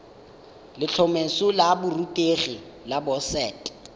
letlhomeso la borutegi la boset